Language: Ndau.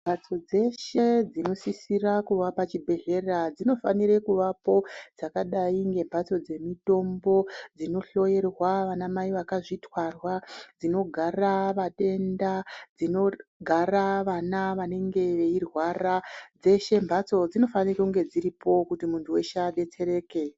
Mbatso dzeshe dzinosisira kuva pachibhedhlera dzinofanire kuvapo dzakadai ngemhatso dzemitombo dzinohloerwa vana mai vakazvitwarwa. Dzinogara vatenda dzinogara vana vanenge veirwara dzeshe mhatso dzinofanira kunge dziripo kuti muntu veshe abetsereke.